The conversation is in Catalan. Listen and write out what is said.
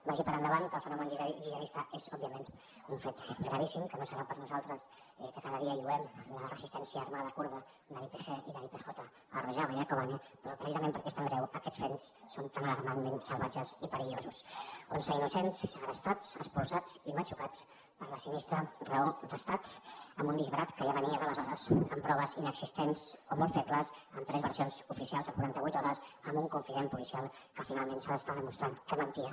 vagi per endavant que el fenomen gihadista és òbviament un fet gravíssim que no serà per nosaltres que cada dia lloem la resistència armada kurda de l’ypg i de l’ypj a rojava i a kobane però precisament perquè és tan greu aquests fets són tan alarmantment salvatges i perillosos onze innocents segrestats expulsats i matxucats per la sinistra raó d’estat en un disbarat que ja venia d’aleshores amb proves inexistents o molt febles amb tres versions oficials en quarantavuit hores amb un confident policial que finalment s’està demostrant que mentia